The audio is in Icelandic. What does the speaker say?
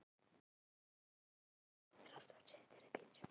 Sesar með lafandi tungu í varðstöðu upp við dyrnar fram á ganginn.